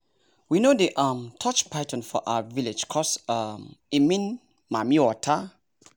we no dey um touch python for our village coz um e mean mami-water